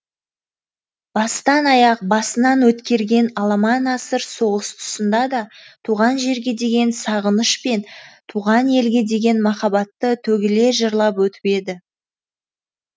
бастан аяқ басынан өткерген аламан асыр соғыс тұсында да туған жерге деген сағыныш пен туған елге деген махаббатты төгіле жырлап өтіп еді